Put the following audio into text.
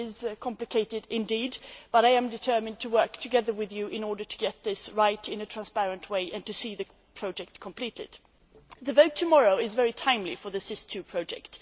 It is very complicated, but I am determined to work together with you in order to get this right in a transparent way and to see the project completed. The vote tomorrow is very timely for the SIS II project.